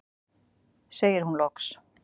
segir hún loks.